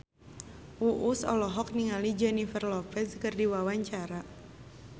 Uus olohok ningali Jennifer Lopez keur diwawancara